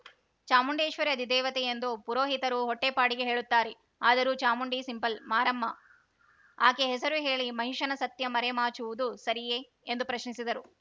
ಚಾಮುಂಡೇಶ್ವರಿ ಅಧಿದೇವತೆ ಎಂದು ಪುರೋಹಿತರು ಹೊಟ್ಟೆಪಾಡಿಗೆ ಹೇಳುತ್ತಾರೆ ಆದರೂ ಚಾಮುಂಡಿ ಸಿಂಪಲ್ ಮಾರಮ್ಮ ಆಕೆ ಹೆಸರು ಹೇಳಿ ಮಹಿಷನ ಸತ್ಯ ಮರೆ ಮಾಚುವುದು ಸರಿಯೆ ಎಂದು ಪ್ರಶ್ನಿಸಿದರು